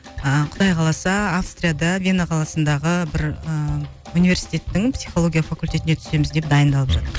ы құдай қаласа австрияда вена қаласындағы бір ыыы университеттің психология факультетіне түсеміз деп дайындалып жатыр